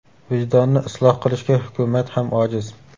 Vijdonni isloh qilishga hukumat ham ojiz.